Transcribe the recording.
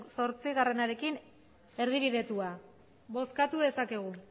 zortziarekin erdibidetua bozkatu dezakegu